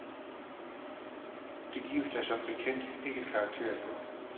Det gives der som bekendt ikke karakter for.